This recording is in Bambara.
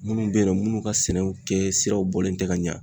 Minnu bɛ yen minnu ka sɛnɛw kɛ siraw bɔlen tɛ ka ɲan